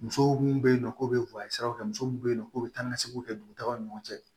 Muso mun bɛ yen nɔ k'o bɛ siraw kɛ muso mun bɛ yen k'o bɛ taa ni ka seginw kɛ dugutagaw ni ɲɔgɔn cɛ